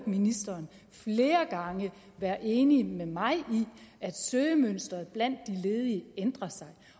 ministeren være enig med mig i at søgemønsteret blandt de ledige ændrer sig